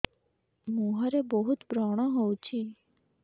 ମୁଁହରେ ବହୁତ ବ୍ରଣ ହଉଛି